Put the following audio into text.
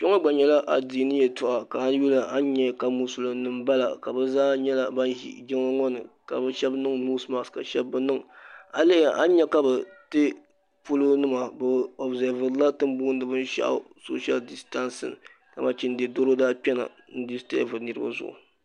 kpɛ ŋɔ gba nyɛla adini yatoɣ' a lihi a nyɛ mosulim nim bala be zaa nyɛla ban ʒɛ jinli ŋɔ ni ka be shɛbi niŋ nosimaki ka be shɛbi be niŋ a yi lihira a nyɛ ka be dɛi polonima be o bi zavurola tin bɔini bɛn shɛgu tɛni bɔni so shɛli diaitanisila dama chɛnidi doro daa kpɛna disitabiri niriba zuɣ'